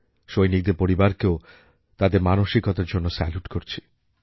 সৈনিকদের পরিবারকেও তাদের মানসিকতার জন্য স্যালুট করছি